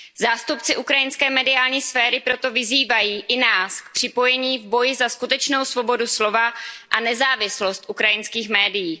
Zástupci ukrajinské mediální sféry proto vyzývají i nás k připojení k boji za skutečnou svobodu slova a nezávislost ukrajinských médií.